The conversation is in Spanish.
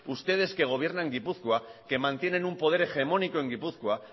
ustedes que gobiernan gipuzkoan que mantienen un poder hegemónico en gipuzkoa